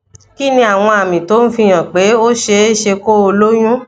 kí ni àwọn àmì tó ń fi hàn pé ó ṣeé ṣe kó o lóyún